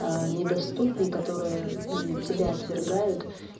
недоступные которые тебя отвергают